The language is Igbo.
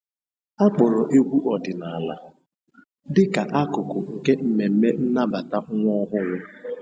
Akpọrọ egwu ọdịnala dịka akụkụ nke mmemme nnabata nwa.